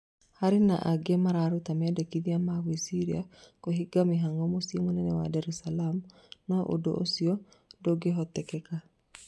Harĩ angĩ mararuta mendikithia ma gwĩciria kũhinga mĩhang'o mũcĩĩ mũnene wa Dar es Salaam, no ũndũ ũcio ndũngĩhoteteka.